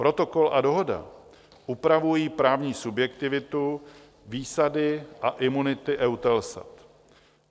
Protokol a Dohoda upravují právní subjektivitu, výsady a imunity EUTELSAT.